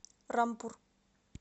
рампур